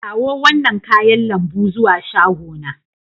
Kawo wannan kayan lambu zuwa shagona.